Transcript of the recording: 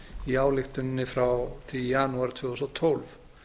í ályktuninni frá því í janúar tvö þúsund og tólf